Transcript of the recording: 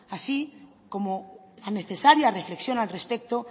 así como tan necesaria reflexión al respecto